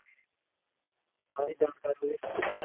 ਸਾਰੀ ਜਾਣਕਾਰੀ phone ਦੇ ਵਿੱਚ ਹੀ ਹੈ .